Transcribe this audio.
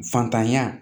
Fantanya